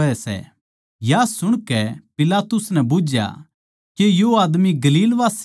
या सुणके पिलातुस नै बुझया के यो आदमी गलीलवासी सै